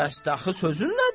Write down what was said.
Bəs dəxi sözün nədir?